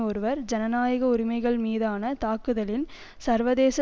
ஒருவர் ஜனநாயக உரிமைகள்மீதான தாக்குதலின் சர்வதேச